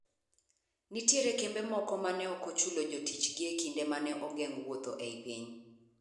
Nitie kembe moko mane ok ochulo jotichgi e kinde mane ogeng wuotho ei piny .